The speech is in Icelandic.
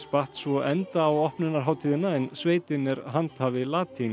batt svo enda á opnunarhátíðina en sveitin er handhafi